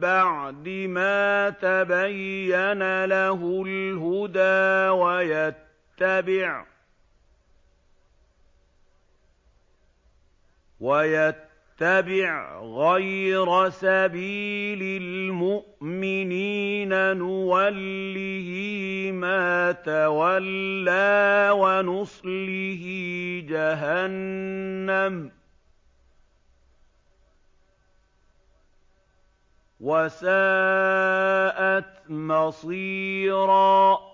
بَعْدِ مَا تَبَيَّنَ لَهُ الْهُدَىٰ وَيَتَّبِعْ غَيْرَ سَبِيلِ الْمُؤْمِنِينَ نُوَلِّهِ مَا تَوَلَّىٰ وَنُصْلِهِ جَهَنَّمَ ۖ وَسَاءَتْ مَصِيرًا